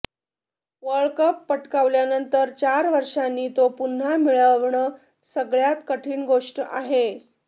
world cup पटकावल्यानंतर चार वर्षांनी तो पुन्हा मिळवणं सगळ्यांत कठीण गोष्ट आहे